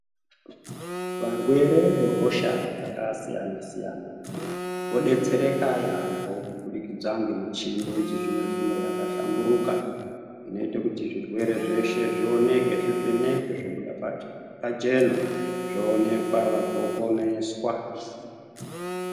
Varwere vehosha dzakasiyana -siyana vodetsereka yaamho kubudikidza ngemichini yechizvino-zvino yakahlamburuka inoita kuti zvirwere zveshe zvioneke, zvivhenekwe zvobuda pachena vanhu voponeswa.